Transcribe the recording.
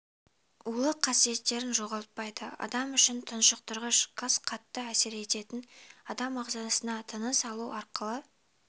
улы қасиеттерін жоғалтпайды адам үшін тұншықтырғыш газ қатты әсер ететін адам ағзасына тыныс алу арқылы